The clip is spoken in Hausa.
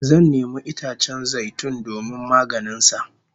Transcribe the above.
Zan nemi itacen zai tun domin maganin sa